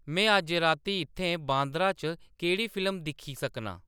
में अज्ज राती इत्थें बांद्रा च केह्‌‌ड़ी फिल्म दिक्खी सकनां